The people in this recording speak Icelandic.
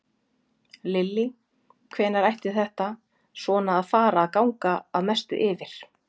Lillý: Hvenær ætti þetta svona að fara að ganga að mestu yfir?